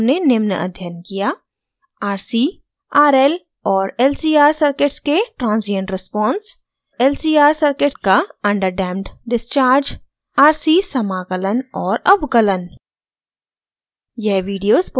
इस tutorial में हमने निम्न अध्ययन किया: